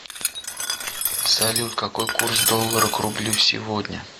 салют какой курс доллара к рублю сегодня